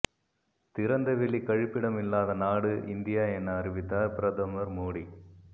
திறந்தவெளி கழிப்பிடம் இல்லாத நாடு இந்தியா என அறிவித்தார் பிரதமர் மோடி